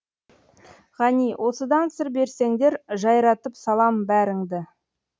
ғани осыдан сыр берсеңдер жайратып салам бәріңді